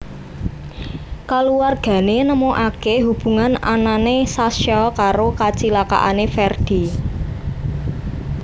Kaluwargané nemukaké hubungan anané Sasha karo kacilakaané Ferdi